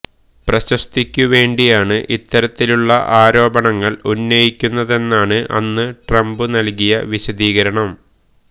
പ്രശസ്തിക്കു വേണ്ടിയാണ് ഇത്തരത്തിലുള്ള ആരോപണങ്ങൾ ഉന്നയിക്കുന്നതെന്നാണ് അന്നു ട്രംപ് നൽകിയ വിശദീകരണം